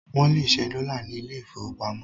Wọ́n lè ṣẹ́ dọ́là ní ilé ìfowópamọ́